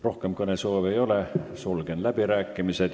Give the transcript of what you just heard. Rohkem kõnesoove ei ole, sulgen läbirääkimised.